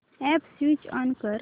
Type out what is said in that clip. app switch on कर